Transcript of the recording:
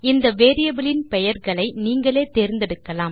இந்த வேரியபிள் இன் பெயர்களை நீங்களே தேர்ந்தெடுக்கலாம்